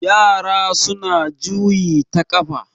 yara suna juyi ta kafa